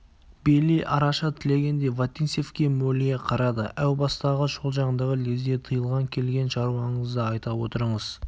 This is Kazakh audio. бейли араша тілегендей вотинцевке мөлие қарады әу бастағы шолжаңдығы лезде тыйылған келген шаруаңызды айта отырыңыз